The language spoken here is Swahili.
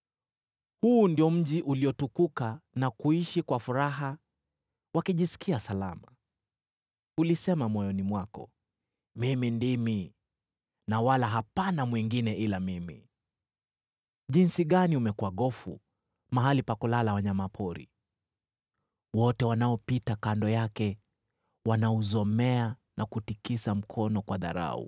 Huu ndio mji uliotukuka na kuishi kwa furaha wakijisikia salama. Ulisema moyoni mwako, “Mimi ndimi, na wala hapana mwingine ila mimi.” Jinsi gani umekuwa gofu, mahali pa kulala wanyama pori! Wote wanaopita kando yake wanauzomea na kutikisa mkono kwa dharau.